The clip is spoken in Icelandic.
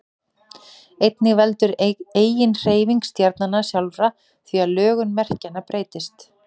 einnig veldur eiginhreyfing stjarnanna sjálfra því að lögun merkjanna breytist